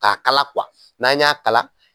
Ka kala n'an y'a kala